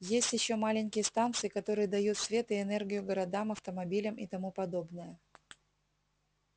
есть ещё маленькие станции которые дают свет и энергию городам автомобилям и тому подобное